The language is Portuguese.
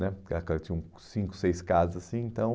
né Tinham cinco, seis casas assim, então